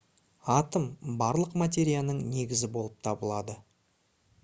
атом барлық материяның негізі болып табылады